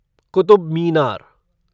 Qutub Minar